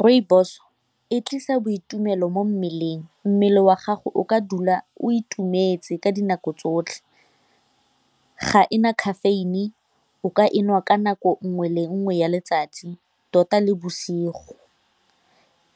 Rooibos e tlisa boitumelo mo mmeleng, mmele wa gago o ka dula o itumetse ka dinako tsotlhe, ga e na caffeine, o ka e nwa ka nako nngwe le nngwe ya letsatsi tota le bosigo